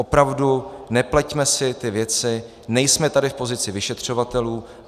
Opravdu, nepleťme si ty věci, nejsme tady v pozici vyšetřovatelů.